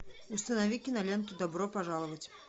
установи киноленту добро пожаловать